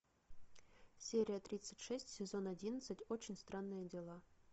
серия тридцать шесть сезон одиннадцать очень странные дела